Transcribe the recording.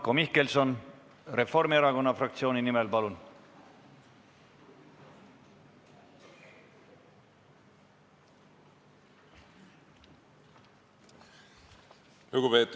Marko Mihkelson Reformierakonna fraktsiooni nimel, palun!